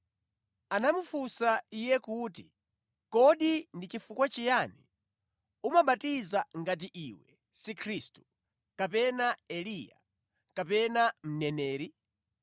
anamufunsa Iye kuti, “Kodi ndi chifukwa chiyani, umabatiza ngati iwe si Khristu, kapena Eliya, kapena Mneneri?”